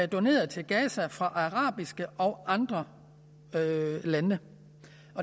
doneret til gaza fra arabiske og andre lande